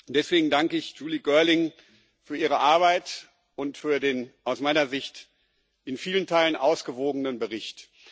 Deswegen danke ich Julie Girling für ihre Arbeit und für den aus meiner Sicht in vielen Teilen ausgewogenen Bericht.